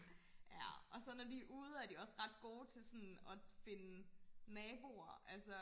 ja og så når de er ude er de også ret gode til sådan og finde naboer altså